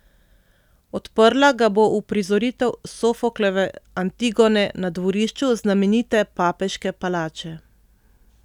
Odprla ga bo uprizoritev Sofoklove Antigone na dvorišču znamenite papeške palače.